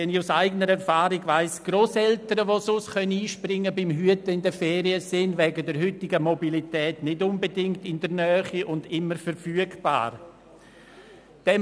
Aus eigener Erfahrung weiss ich, dass Grosseltern, die sonst beim Hüten einspringen können, in den Ferien sind und wegen der heutigen Mobilität nicht immer in der Nähe und immer verfügbar sind.